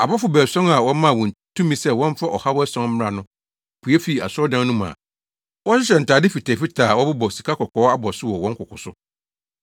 Abɔfo baason a wɔmaa wɔn tumi sɛ wɔmfa ɔhaw ason mmra no pue fii asɔredan no mu a wɔhyehyɛ ntade fitafitaa a wɔbobɔ sikakɔkɔɔ abɔso wɔ wɔn koko so.